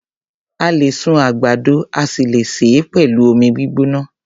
A lè sun àgbàdo a sì le sè é pẹ̀lú omi gbígbóná.